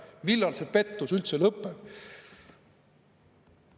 Millal see pettus üldse lõpeb?